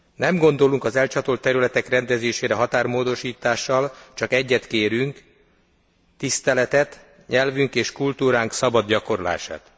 Nem gondolunk az elcsatolt területek rendezésére határmódosítással, csak egyet kérünk, tiszteletet, nyelvünk és kultúránk szabad gyakorlását.